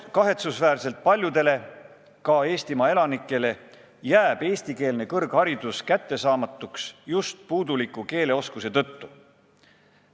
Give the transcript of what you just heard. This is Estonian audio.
Kahetsusväärselt paljudele Eestimaa elanikelegi jääb eestikeelne kõrgharidus kättesaamatuks just puuduliku keeleoskuse tõttu.